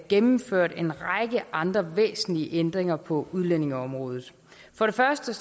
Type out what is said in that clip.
gennemført en række andre væsentlige ændringer på udlændingeområdet for det første